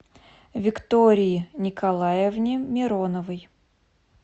виктории николаевне мироновой